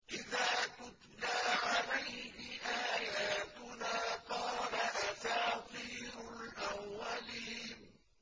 إِذَا تُتْلَىٰ عَلَيْهِ آيَاتُنَا قَالَ أَسَاطِيرُ الْأَوَّلِينَ